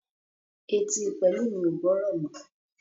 Etí Pelumi o gbórò mọ.